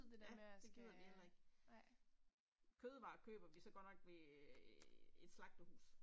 Ja, det gider vi heller ikke. Kødvarer køber vi så godt nok ved æh et slagterhus